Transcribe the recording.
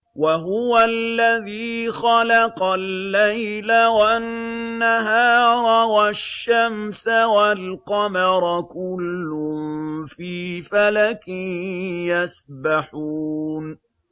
وَهُوَ الَّذِي خَلَقَ اللَّيْلَ وَالنَّهَارَ وَالشَّمْسَ وَالْقَمَرَ ۖ كُلٌّ فِي فَلَكٍ يَسْبَحُونَ